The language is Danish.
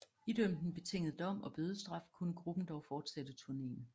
Idømt en betinget dom og bødestraf kunne gruppen dog fortsætte turnéen